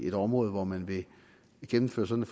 et område hvor man vil gennemføre sådan